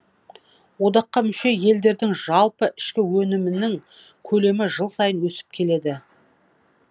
одаққа мүше елдердің жалпы ішкі өнімінің көлемі жыл сайын өсіп келеді